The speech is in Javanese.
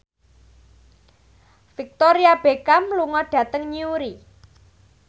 Victoria Beckham lunga dhateng Newry